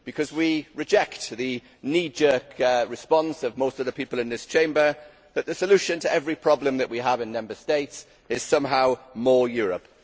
We reject the knee jerk response of most of the people in this Chamber that the solution to every problem that we have in Member States is somehow more Europe'.